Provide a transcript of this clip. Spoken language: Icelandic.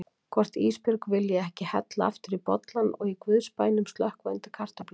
Hvort Ísbjörg vilji ekki hella aftur í bollann og í guðs bænum slökkva undir kartöflunum.